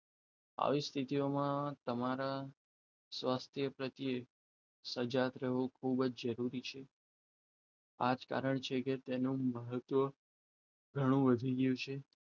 આવી સ્થિતિમાં તમારા સ્વાસ્થ્ય પ્રત્યે સર્જક રહો ખૂબ જ જરૂરી છે આ જ કારણ છે તેનો મુખ પણ ઘણું વધી ગયું છે